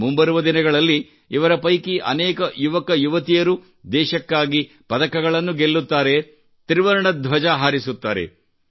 ಮುಂಬರುವ ದಿನಗಳಲ್ಲಿ ಇವರ ಪೈಕಿ ಅನೇಕ ಯುವಕರು ಯುವತಿಯರು ದೇಶಕ್ಕಾಗಿ ಪದಕಗಳನ್ನು ಗೆಲ್ಲುತ್ತಾರೆ ತ್ರಿವರ್ಣ ಧ್ವಜ ಹಾರಿಸುತ್ತಾರೆ